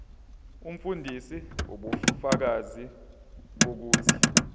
umfundisi ubufakazi bokuthi